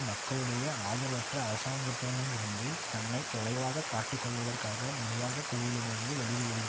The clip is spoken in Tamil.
மக்களுடைய ஆதரவற்ற அரசாங்கத்திடமிருந்து தன்னை தொலைவாகக் காட்டிக் கொள்வதற்காக நிர்வாக குழுவிடமிருந்து வெளிவியல ஹும்